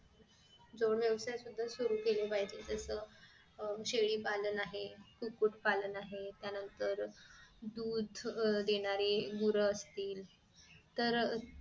जोड व्यवसाय सुरु केले पाहिजे तस अह शेळी पालन आहे कुकूट पालन आहे त्यानंतर अह दूध देणारी गोर असतील तर